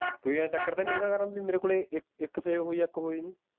ਕੋਈ ਯਾਰ ਚੱਕਰ ਤੇ ਨਹੀਂ ਹੇਗਾ ਯਾਰ ਮੇਰੇ ਕੋਲੇ ਇਕ ਇਕ save ਹੋਈ ਆ ਇਕ ਹੋਈ ਨੀ